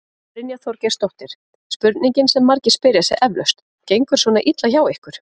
Brynja Þorgeirsdóttir: Spurningin sem margir spyrja sig eflaust, gengur svona illa hjá ykkur?